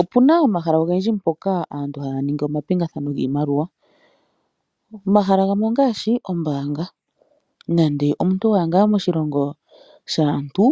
Opuna omahala ngoka aantu haya ningi omapingakanitho giimaliwa, omahala gamwe ongaashi ombaanga, nande omuntu wa ya ngaa moshilongo shaantu,